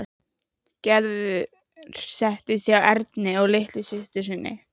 Gerður settist hjá Erni og litlu systur sinni.